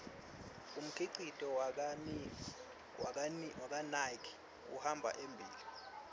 umkhicito wakanike uhamba embile